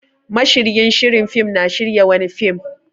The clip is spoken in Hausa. Mashiryin shiri fim na shirya wani fim.